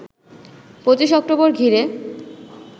২৫ October ঘিরে